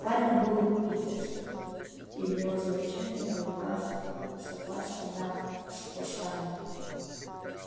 парень был питерским и в его завещании указано согласие на восстание